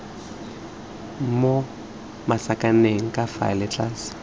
mo masakaneng ka fa tlase